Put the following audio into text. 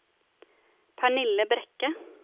Pernille Brekke